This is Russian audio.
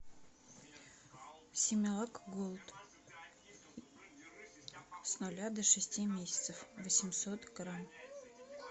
симилак голд с ноля до шести месяцев восемьсот грамм